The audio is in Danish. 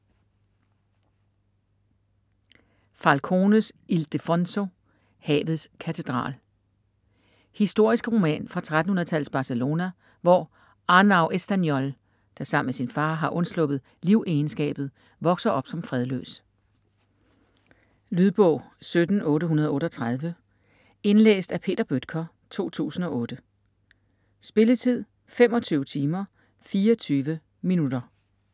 Falcones, Ildefonso: Havets katedral Historisk roman fra 1300-tallets Barcelona, hvor Arnau Estanyol, der sammen med sin far har undsluppet livegenskabet, vokser op som fredløs. Lydbog 17838 Indlæst af Peter Bøttger, 2008. Spilletid: 25 timer, 24 minutter.